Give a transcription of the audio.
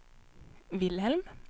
Vilhelm